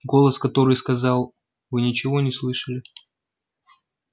голос который сказал вы ничего не слышали